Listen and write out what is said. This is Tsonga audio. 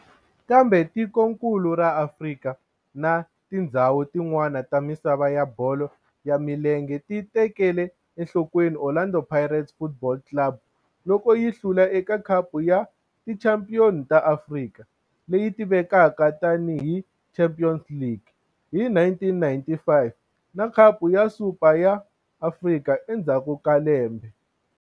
Kambe tikonkulu ra Afrika na tindzhawu tin'wana ta misava ya bolo ya milenge ti tekele enhlokweni Orlando Pirates Football Club loko yi hlula eka Khapu ya Tichampion ta Afrika, leyi tivekaka tani hi Champions League, hi 1995 na Khapu ya Super ya Afrika endzhaku ka lembe.